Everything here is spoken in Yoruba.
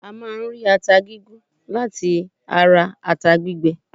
A máà ń rí ata gígún láti ata gbígbẹ.